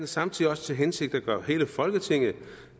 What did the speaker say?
samtidig også til hensigt at gøre hele folketinget